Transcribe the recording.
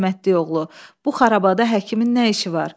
Ay rəhmətlik oğlu, bu xarabada həkimin nə işi var?